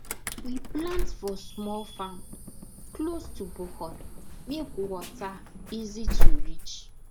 we plant for small farm close to borehole make water easy to reach